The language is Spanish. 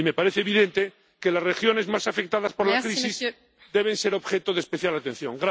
Y me parece evidente que las regiones más afectadas por la crisis deben ser objeto de especial atención.